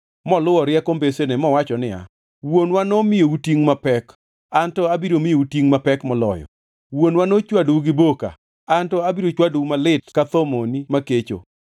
moluwo rieko mbesene mowacho niya, “Wuonwa nomiyou tingʼ mapek, an to abiro miyou tingʼ mapek moloyo. Wuonwa nochwadou gi boka, an to abiro chwadou malit ka thomoni makecho.”